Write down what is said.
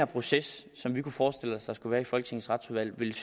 proces som vi kunne forestille os der skulle være i folketingets retsudvalg ville